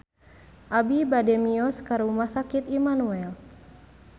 Abi bade mios ka Rumah Sakit Immanuel